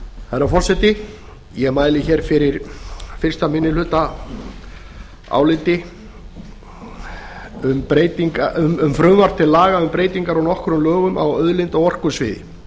herra forseti ég mæli hér fyrir fyrstu minnihlutaáliti um frumvarp til laga um breytingar á nokkrum lögum á auðlinda og orkusviði